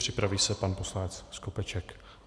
Připraví se pan poslanec Skopeček.